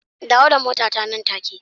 Dawo da motata nan take